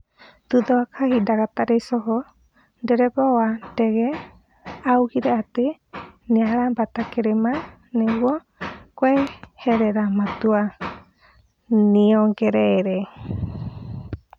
Thutha wa kahinda gatarĩ coho, ndereba wa ndege augire atĩ nĩarambata kĩrĩma nĩguo kweherera matua, nĩongereire.